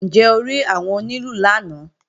Ǹjẹ́ o rí àwọn onílù lánàá?